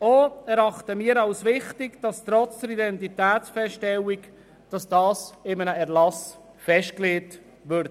Auch erachten wir es als wichtig, dass dies in einem Erlass festgelegt wird.